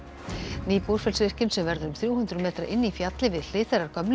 ný Búrfellsvirkjun sem verður um þrjú hundruð metra inni í fjalli við hlið þeirrar gömlu